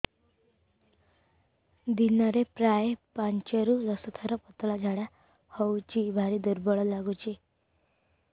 ଦିନରେ ପ୍ରାୟ ପାଞ୍ଚରୁ ଦଶ ଥର ପତଳା ଝାଡା ହଉଚି ଭାରି ଦୁର୍ବଳ ଲାଗୁଚି